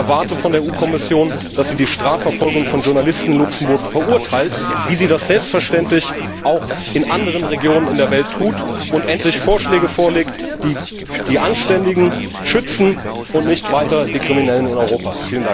Ich erwarte von der EU Kommission, dass sie die Strafverfolgung von Journalisten in Luxemburg verurteilt, wie sie das selbstverständlich auch in anderen Regionen in der Welt tut, und endlich Vorschläge vorlegt, die die Anständigen schützen und nicht weiter die Kriminellen in Europa.